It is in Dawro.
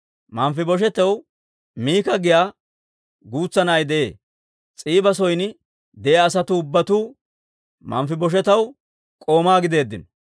Manfibosheetaw Miika giyaa guutsa na'ay de'ee. S'iiba son de'iyaa asatuu ubbatuu Manfibosheetaw k'oomaa gideeddino.